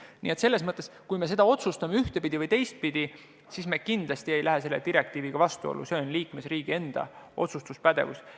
Nii et kui me otsustame selle ühtepidi või teistpidi, siis me kindlasti ei lähe selle direktiiviga vastuollu, tegu on liikmesriigi enda otsustuspädevusega.